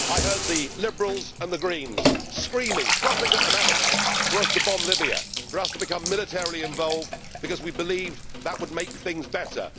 I heard the Liberals and the Greens screaming, frothing at the mouth, for us to bomb Libya for us to become militarily involved because we believed that would make things better.